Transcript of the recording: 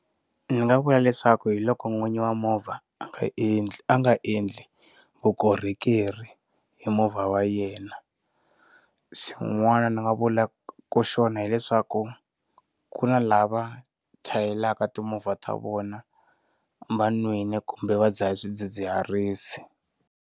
Ndzi nga vula leswaku hi loko n'winyi wa movha a nga endli a nga endli vukorhokeri hi movha wa yena, swin'wana ni nga vula xona hileswaku ku na lava chayelaka timovha ta vona vanwini kumbe va dzahe swidzidziharisi.